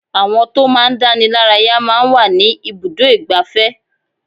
Àwọn tó máa ń dánilaraya máa ń wà ní ibùdó igbàfẹ́.